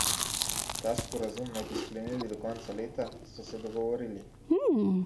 Ta sporazum naj bi sklenili do konca leta, so se dogovorili.